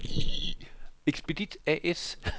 Expedit A/S